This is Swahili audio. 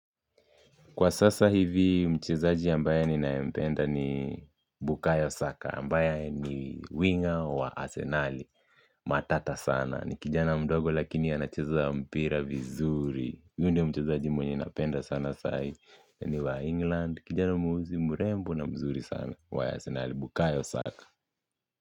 Kwa sasa hivi mchezaji ninayempenda ni Bukayo Saka ambaye ni winger wa Arsenali matata sana. Ni kijana mdogo lakini anacheza mpira vizuri. Huyu ndiye mchezaji mwenye napenda sana saa hii ni wa England kijana mweusi mrembo na mzuri sana wa Arsenali Bukayo Saka.